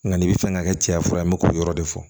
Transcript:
Nka n'i bɛ fɛ ka kɛ cɛya fura ye n bɛ k'o yɔrɔ de fɔ